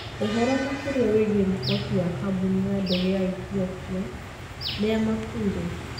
Ũhoro makĩria wĩgiĩ riboti ya kambuni ya ndege ya Ethiopia: Nĩa makuire?